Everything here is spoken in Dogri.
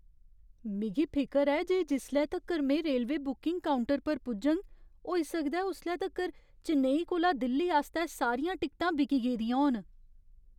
मिगी फिकर ऐ जे जिसले तक्कर में रेलवे बुकिंग काउंटर पर पुजङ, होई सकदा ऐ उसले तक्कर चेन्नई कोला दिल्ली आस्तै सारियां टिकटां बिकी गेदियां होन।